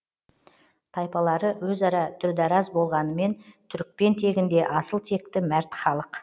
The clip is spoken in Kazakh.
тайпалары өзара дүрдараз болғанымен түрікпен тегінде асыл текті мәрт халық